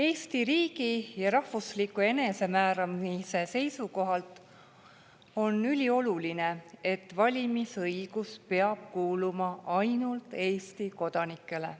Eesti riigi ja rahvusliku enesemääramise seisukohalt on ülioluline, et valimisõigus peab kuuluma ainult Eesti kodanikele.